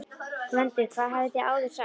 GVENDUR: Það hafið þér áður sagt.